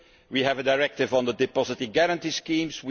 We have a directive on the deposit guarantee schemes.